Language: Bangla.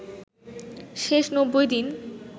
শেষ ৯০ দিন